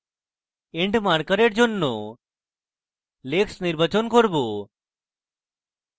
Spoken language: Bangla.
end marker for জন্য legs নির্বাচন করব